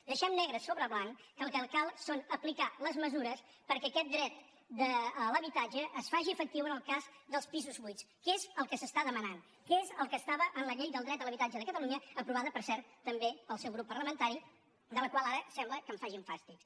deixem negre sobre blanc que el que cal és aplicar les mesures perquè aquest dret de l’habitatge es faci efectiu en el cas dels pisos buits que és el que es demana que és el que hi havia en la llei del dret a l’habitatge de catalunya aprovada per cert també pel seu grup parlamentari de la qual ara sembla que facin fàstics